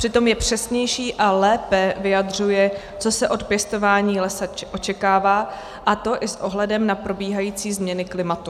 Přitom je přesnější a lépe vyjadřuje, co se od pěstování lesa očekává, a to i s ohledem na probíhající změny klimatu.